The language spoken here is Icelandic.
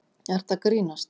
ert að grínast.